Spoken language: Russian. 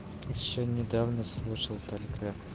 ещё недавно слушал только